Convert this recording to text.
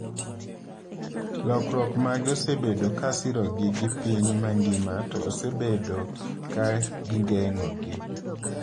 Lokiruok mage osebedo ka sirogi gi piny mangima to osebedo ka gigeng’ogi.